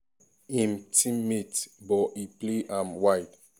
im teammate but e play am wide.